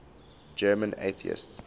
german atheists